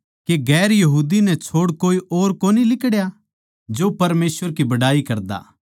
के गैर यहूदी नै छोड़ कोए और न्ही लिकड़या जो परमेसवर की बड़ाई करदा